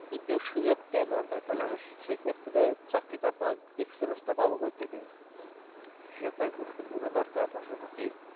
যদি কেউ সুযোটাই না দেয় তাহলে আমি সে সেক্ষেত্রে চাকরিটা experience টা পাবো কই থেকে সেটাতো একজনকে বোঝা দরকার আছে নাকি